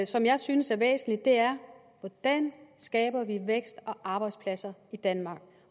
som jeg synes er væsentligt er hvordan skaber vi vækst og arbejdspladser i danmark